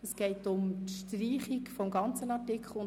Es geht um die Streichung des ganzen Artikels.